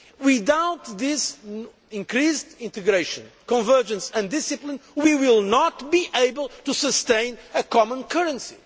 euro area. Without this increased integration, convergence and discipline, we will not be able to sustain a common